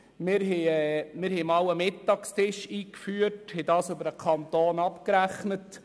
Wir hatten einmal einen Mittagstisch eingeführt und diesen über den Kanton abgerechnet.